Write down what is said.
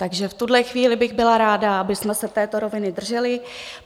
Takže v tuhle chvíli bych byla ráda, abychom se této roviny drželi.